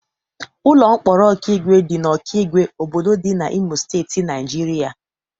Ụlọ mkpọrọ Okigwe dị na Okigwe, obodo dị na Imo Steeti, Naijiria.